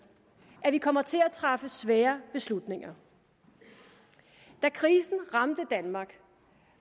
at vi kommer til at træffe svære beslutninger da krisen ramte danmark